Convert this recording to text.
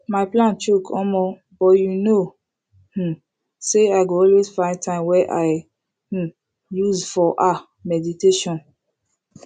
my plan choke omo but you know um say i go always find time wey i um use for ah meditation